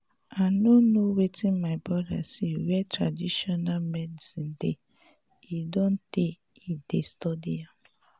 i no know wetin my brother see where traditional medicine dey e don tey he dey study am